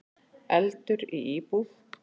Eldur í íbúð